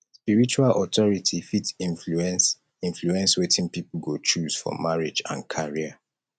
spiritual authority fit influence influence wetin pipo go choose for marriage and career